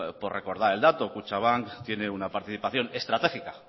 por recordar el dato kutxabank tiene una participación estratégica